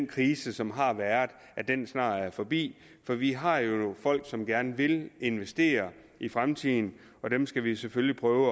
krise som har været snart er forbi for vi har jo folk som gerne vil investere i fremtiden og dem skal vi selvfølgelig prøve